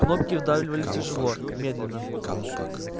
кнопки вдавливали тяжело медленно